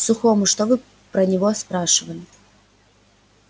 сухому что вы про него спрашивали